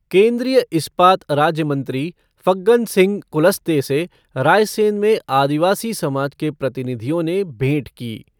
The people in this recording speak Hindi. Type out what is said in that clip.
केन्द्रीय इस्पात राज्य मंत्री फग्गन सिंह कुलस्ते से रायसेन में आदिवासी समाज के प्रतिनिधियों ने भेंट की।